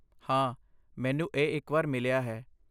ਹਾਂ, ਮੈਨੂੰ ਇਹ ਇੱਕ ਵਾਰ ਮਿਲਿਆ ਹੈ।